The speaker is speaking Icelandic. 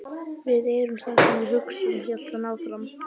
Við erum það sem við hugsum- hélt hann áfram.